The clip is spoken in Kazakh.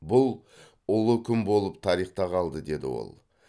бұл ұлы күн болып тарихта қалды деді ол